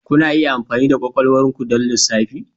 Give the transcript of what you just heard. Kuna iya amfani da kwakwalwar ku don lissafi.